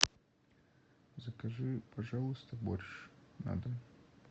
закажи пожалуйста борщ на дом